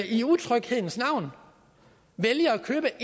i utryghedens navn vælger at købe